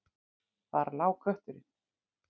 Þar lá kötturinn.